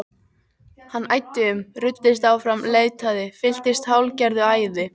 Hann æddi um, ruddist áfram, leitaði, fylltist hálfgerðu æði.